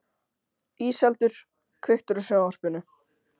Íseldur, kveiktu á sjónvarpinu.